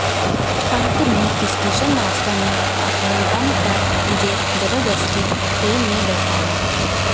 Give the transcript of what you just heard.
अंत में station master ने अपने दम पर मुझे जबरदस्ती ट्रेन में बैठाया